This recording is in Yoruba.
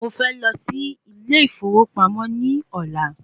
Mo fẹ́ lọ sí ilé ìfowópamọ́ ní ọ̀la